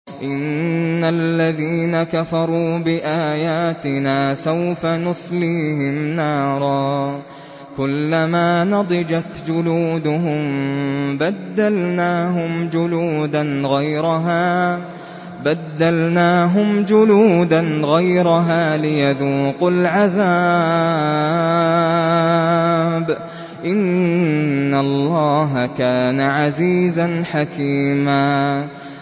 إِنَّ الَّذِينَ كَفَرُوا بِآيَاتِنَا سَوْفَ نُصْلِيهِمْ نَارًا كُلَّمَا نَضِجَتْ جُلُودُهُم بَدَّلْنَاهُمْ جُلُودًا غَيْرَهَا لِيَذُوقُوا الْعَذَابَ ۗ إِنَّ اللَّهَ كَانَ عَزِيزًا حَكِيمًا